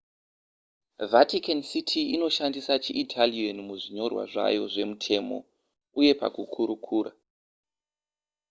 vatican city inoshandisa chiitalian muzvinyorwa zvayo zvemutemo uyee pakukurukura